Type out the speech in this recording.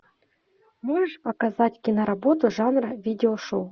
можешь показать киноработу жанра видео шоу